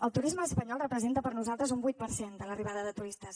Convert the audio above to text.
el turisme espanyol representa per a nosaltres un vuit per cent de l’arribada de turistes